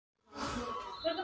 Hvað ætlar þú að gera við þá?